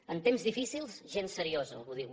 en temps difícils gent seriosa algú diu